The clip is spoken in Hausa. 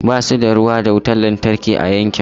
Ba su da ruwa da wutar lantarki a yankin su.